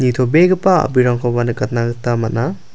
nitobegipa a·brirangkoba nikatna gita man·a.